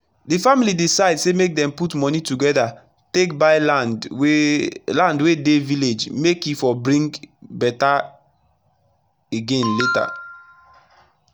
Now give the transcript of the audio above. d family decide say make dem put moni togeda take buy land wey land wey dey village make e for bring beta again lata